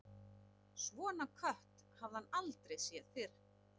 Svona kött hafði hann aldrei séð fyrr.